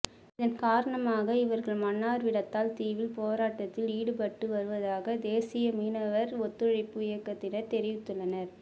இதன் காரணமாக இவர்கள் மன்னார் விடத்தல் தீவில் போராட்டத்தில் ஈடுபட்டு வருவதாக தேசிய மீனவர் ஒத்துழைப்பு இயக்கத்தினர் தெரிவித்துள்ளனர்